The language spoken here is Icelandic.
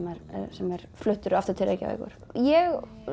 sem er fluttur aftur til Reykjavíkur ég